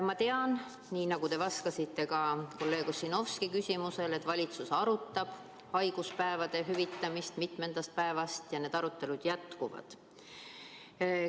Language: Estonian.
Ma tean ja te ütlesite ka kolleeg Ossinovski küsimusele vastates, et valitsus arutab haiguspäevade hüvitamist teatud päevast alates ja et need arutelud jätkuvad.